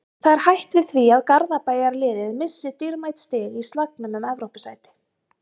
Það er hætt við því að Garðabæjarliðið missi dýrmæt stig í slagnum um Evrópusæti.